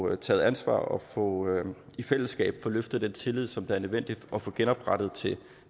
at tage ansvar og i fællesskab få løftet den tillid som det er nødvendigt at få genoprettet til